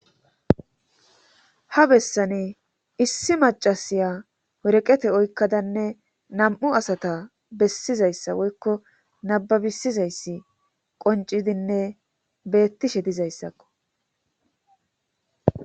ha bessani issi macasiya woreqete oykkadanne nam7u asata bessizayssa woykko nababisizayssi qoncidinne beettishe dizayssakko